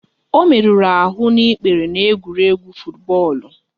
Ọ merụrụ ahụ n'ikpere n'egwuregwu futubọọlu